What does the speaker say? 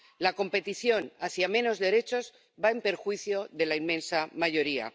La competición hacia menos derechos va en perjuicio de la inmensa mayoría.